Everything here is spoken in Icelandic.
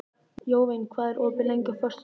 Jóvin, hvað er opið lengi á föstudaginn?